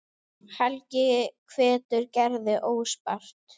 Helgi hvetur Gerði óspart.